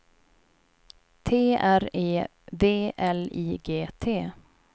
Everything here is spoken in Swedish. T R E V L I G T